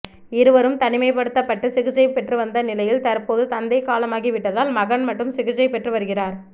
இருவரும் தனிமைப்படுத்தப்பட்டு சிகிச்சை பெற்று வந்த நிலையில் தற்போது தந்தை காலமாகி விட்டதால் மகன் மட்டும் சிகிச்சை பெற்று வருகிறார்